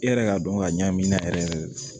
E yɛrɛ ka dɔn ka ɲa min na yɛrɛ yɛrɛ